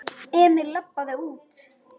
Emil labbaði út.